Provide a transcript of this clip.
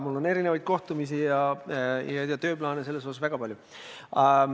Mul on sellega seoses mitmesuguseid kohtumisi ja tööplaane väga palju.